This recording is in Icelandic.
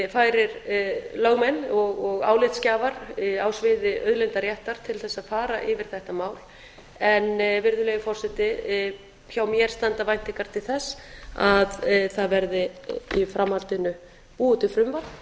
færir lögmenn og álitsgjafar á sviði auðlindaréttar til þess að fara yfir þetta mál en virðulegi forseti hjá mér standa væntingar til það það verði í framhaldinu búið til frumvarp